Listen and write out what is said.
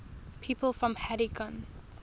people from haddington